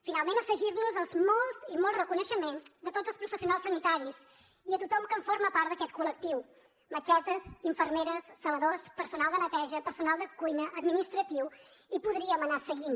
finalment afegir nos als molts i molts reconeixements de tots els professionals sanitaris i a tothom que en forma part d’aquest col·lectiu metgesses infermeres zeladors personal de neteja personal de cuina administratiu i podríem anar seguint